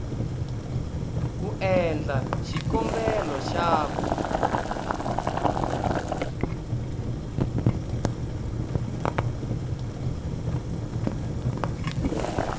ku endla xikombelo xa ku